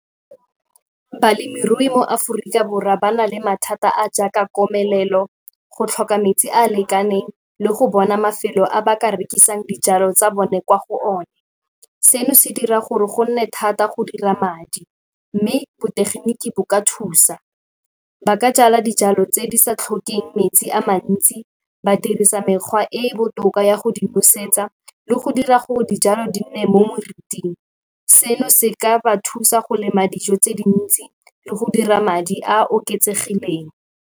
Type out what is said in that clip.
Balemirui mo Aforika Borwa ba na le mathata a a jaaka komelelo, go tlhoka metsi a a lekaneng le go bona mafelo a ba ka rekisang dijalo tsa bone kwa go one. Seno se dira gore go nne thata go dira madi mme botegeniki bo ka thusa. Ba ka jala dijalo tse di sa tlhokeng metsi a mantsi, ba dirisa mekgwa e e botoka ya go di busetsa le go dira gore dijalo di nne mo moriting. Seno se ka ba thusa go lema dijo tse dintsi le go dira madi a a oketsegileng.